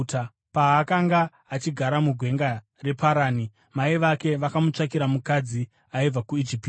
Paakanga achigara mugwenga reParani, mai vake vakamutsvakira mukadzi aibva kuIjipiti.